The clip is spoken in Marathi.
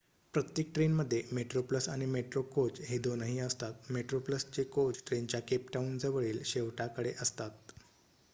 प्रत्येक ट्रेनमध्ये मेट्रोप्लस आणि मेट्रो कोच हे दोनही असतात मेट्रोप्लसचे कोच ट्रेनच्या केप टाऊनजवळील शेवटाकडे असतात